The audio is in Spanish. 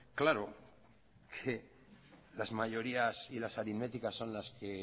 claro que las mayorías y las aritméticas son las que